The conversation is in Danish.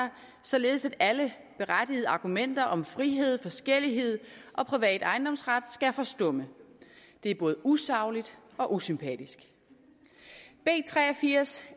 således at alle berettigede argumenter om frihed forskellighed og privat ejendomsret skal forstumme det er både usagligt og sympatisk b tre og firs